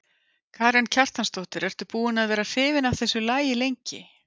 Karen Kjartansdóttir: Ertu búin að vera hrifin af þessu lagi lengi?